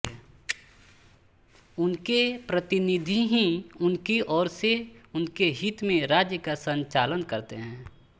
ये प्रतिनिधि ही उनकी ओर से और उनके हित में राज्य का संचालन करते हैं